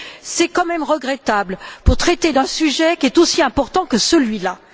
C'est quand même regrettable pour traiter d'un sujet qui est aussi important que celui là.